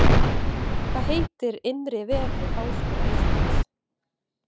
Hvað heitir innri vefur Háskóla Íslands?